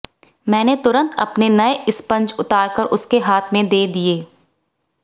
मैंने तुरंत अपने नए स्पंज उतारकर उसके हाथ में दे दिए